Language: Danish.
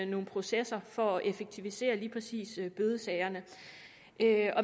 nogle processer for at effektivisere lige præcis bødesagerne